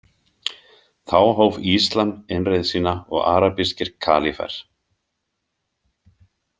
Þá hóf Íslam innreið sína og arabískir kalífar.